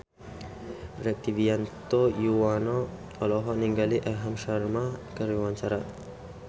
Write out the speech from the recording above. Rektivianto Yoewono olohok ningali Aham Sharma keur diwawancara